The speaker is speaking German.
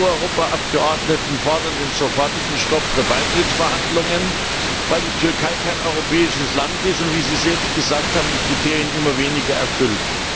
Die CSU Europaabgeordneten fordern den sofortigen Stopp der Beitrittsverhandlungen, weil die Türkei kein europäisches Land ist und wie Sie selbst gesagt haben die Kriterien immer weniger erfüllt.